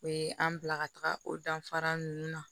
O ye an bila ka taga o danfara ninnu na